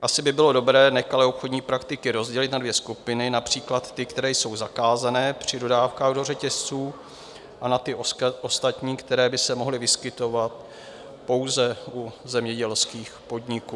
Asi by bylo dobré nekalé obchodní praktiky rozdělit na dvě skupiny - například ty, které jsou zakázány při dodávkách do řetězců, a na ty ostatní, které by se mohly vyskytovat pouze u zemědělských podniků.